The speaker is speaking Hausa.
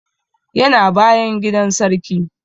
Yana bayan gidan sarki